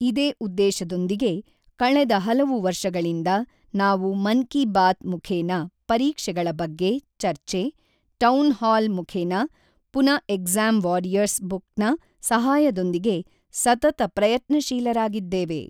ಇದೇ ಉದ್ದೇಶದೊಂದಿಗೆ ಕಳೆದ ಹಲವು ವರ್ಷಗಳಿಂದ ನಾವು ಮನ್ ಕಿ ಬಾತ್ ಮುಖೇನ ಪರೀಕ್ಷೆಗಳ ಬಗ್ಗೆ ಚರ್ಚೆ, ಟೌನ್ ಹಾಲ್ ಮುಖೇನ ಪುನ ಎಗ್ಜಾಮ್ ವಾರಿಯರ್ಸ ಬುಕ್ ನ ಸಹಾಯದೊಂದಿಗೆ ಸತತ ಪ್ರಯತ್ನಶೀಲರಾಗಿದ್ದೇವೆ.